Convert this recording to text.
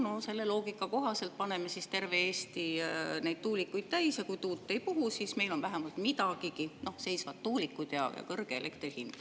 No selle loogika kohaselt paneme siis terve Eesti neid tuulikuid täis, ja kui tuul ei puhu, siis meil on vähemalt midagigi: seisvad tuulikud ja kõrge elektrihind.